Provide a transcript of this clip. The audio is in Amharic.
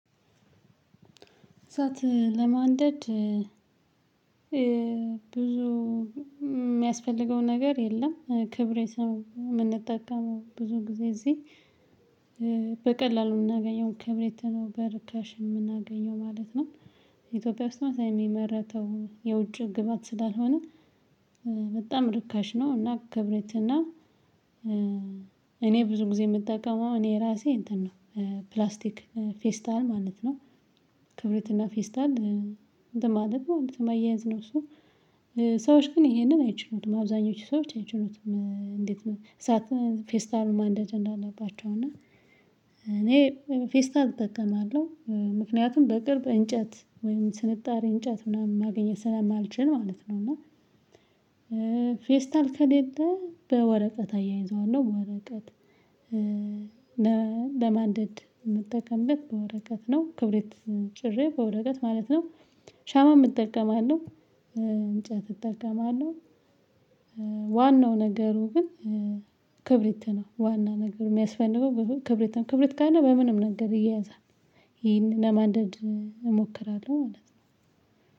እሳት ለማንደድ። ብዙ የሚያስፈልገው ነገር የለም ክብሪት ነው የምንጠቀመው ብዙ ጊዜ እዚህ በቀላሉ የምናገኘውን ክብሪት ነው በርካሽ የምናገኘው ማለት ነው። ኢትዮጵያ ውስጥ መሰለኝ የሚመረተው የውጭ ግብአት ስላልሆነ በጣም ርካሽ ነው። እና ክብረትና ብዙ ጊዜ የምጠቀመው እኔ ራሴ እንትን ነው። ፕላስቲክ ፌስታል ማለት ነው። ክብረት እና ፌስታል እንትን ማለት ነው ማያያዝ ነው እሱ። ሰዎች ግን ይሄንን አይችሉትም አብዛኞቹ ሰዎች አይችሉትም እንዴት ነው? ፌስታሉን ማንደድ እንዳለባቸው እና ፌስታል እጠቀማለሁ ምክንያቱም በቅርብ እንጨት ወይም ስንጣሬ እንጨት ምናምን ማግኘት ስለማልችል ማለት ነው። እና ፌስታል ከሌለ በወረቀት አያይዘዋለሁ ወረቀት። ለማንደድ የምጠቀምበት በወረቀት ነው ክብሪት ጭሬ በወረቀት ማለት ነው። ሻማም እጠቀማው። እንጨት እጠቀማለው። ዋናው ነገሩ ግን ክብሪት ነው ዋና ነገር የሚያስፈልገው ክብሪት ነው ክብሪት ካለ በምንም ነገር ይያያዛል። ይሄን ለማን እሞክራለሁ ማለት ነው።